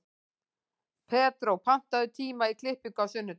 Pedró, pantaðu tíma í klippingu á sunnudaginn.